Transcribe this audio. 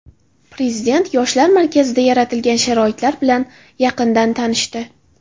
Prezident Yoshlar markazida yaratilgan sharoitlar bilan yaqindan tanishdi.